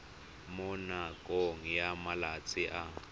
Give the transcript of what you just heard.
mo nakong ya malatsi a